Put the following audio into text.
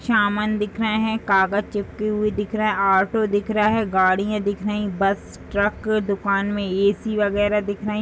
सामान दिख रहा है। कागज़ चिपकी हुई दिख रहा है। ऑटो दिख रहा है। गाड़ियां दिख रही हैं। बस ट्रक दुकान में ए.सी. वगैरह दिख रहा है।